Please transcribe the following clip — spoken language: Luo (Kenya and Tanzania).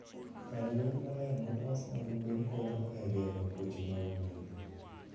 kar yweyo maler molos mag gwen konyo e geng'o tuoche mag gwen.